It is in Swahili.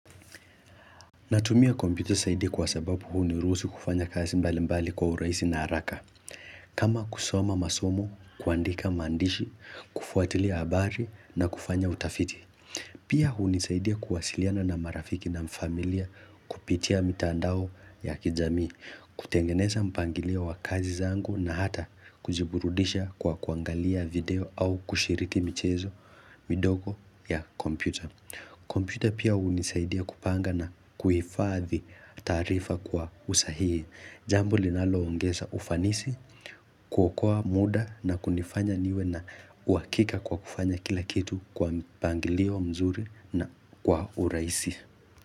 Natumia kompyuta zaidi kwa sababu huniruhusu kufanya kazi mbali mbali kwa urahisi na haraka. Kama kusoma masomo, kuandika maandishi, kufuatilia habari na kufanya utafiti. Pia hunisaidia kuwasiliana na marafiki na familia kupitia mitandao ya kijamii, kutengeneza mpangilio wa kazi zangu na hata kujiburudisha kwa kuangalia video au kushiriki michezo midogo ya kompyuta. Kompyuta pia hunisaidia kupanga na kuhifadhi taarifa kwa usahihi. Jambo linalo ongeza ufanisi, kuokoa muda na kunifanya niwe na uhakika kwa kufanya kila kitu kwa mpangilio mzuri na kwa urahisi.